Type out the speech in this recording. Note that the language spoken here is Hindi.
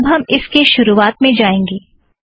अब हम इसके शुरुवात में जाएंगें